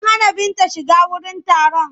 An hana Binta shiga wurin taron.